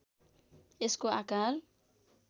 यसको आकार